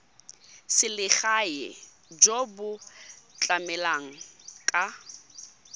selegae jo bo tlamelang ka